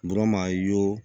a ye wo